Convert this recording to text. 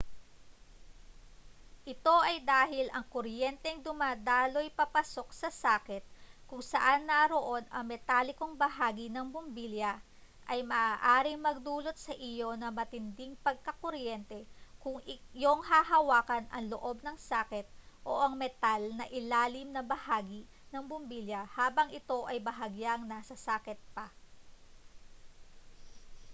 ito ay dahil ang kuryenteng dumadaloy papasok sa saket kung saan naroon ang metalikong bahagi ng bumbilya ay maaaring magdulot sa iyo ng matinding pagkakuryente kung iyong hahawakan ang loob ng saket o ang metal na ilalim na bahagi ng bumbilya habang ito ay bahagyang nasa saket pa